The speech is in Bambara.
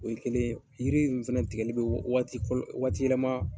O ye kelen yiri in fana tigɛli bɛ waatiyɛlɛma